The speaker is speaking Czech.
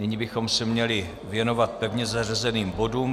Nyní bychom se měli věnovat pevně zařazeným bodům.